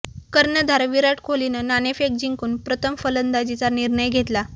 कर्णधार विराट कोहलीनं नाणेफेक जिंकून प्रथम फलंदाजीचा निर्णय घेतला